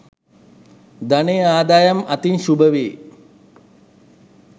ධනය ආදායම් අතින් ශුභවේ.